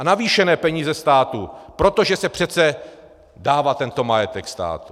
A navýšené peníze státu, protože se přece dává tento majetek státu.